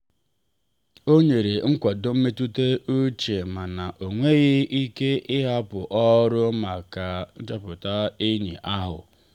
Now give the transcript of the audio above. ọ nyere nkwado mmetụta uche mana ọ nweghị ike ịhapụ ọrụ maka nhọpụta enyi ahụ.